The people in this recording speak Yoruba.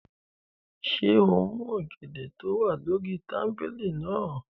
Ṣé o mú ọ̀gẹ̀dẹ̀ tó wà lórí tábìlì náà?